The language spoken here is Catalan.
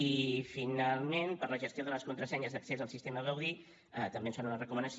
i finalment per a la gestió de les contrasenyes d’accés al sistema gaudí també ens fan una recomanació